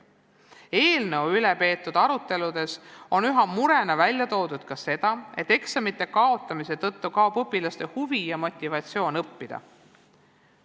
Eelnõu üle peetud aruteludes on ühe murena välja toodud seda, et eksamite kaotamise tõttu kaob õpilastes huvi ja motivatsioon õppida.